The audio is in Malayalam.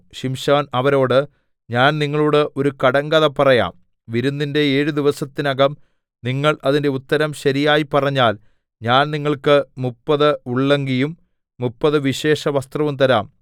ശിംശോൻ അവരോട് ഞാൻ നിങ്ങളോട് ഒരു കടങ്കഥ പറയാം വിരുന്നിന്റെ ഏഴു ദിവസത്തിനകം നിങ്ങൾ അതിന്റെ ഉത്തരം ശരിയായി പറഞ്ഞാൽ ഞാൻ നിങ്ങൾക്ക് മുപ്പത് ഉള്ളങ്കിയും മുപ്പത് വിശേഷവസ്ത്രവും തരാം